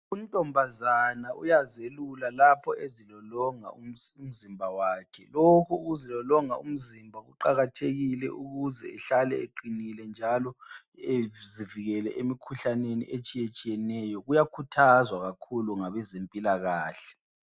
Untombazana uyazelula lapho ezilolonga umzimba wakhe lokhu ukuzilolonga kuqakathekile kakhulu ukuze ihlale uqinile njalo izivikele emikhuhlaneni etshiyeneyo kuyakhuthazwa kakhulu ngabezempilakahle.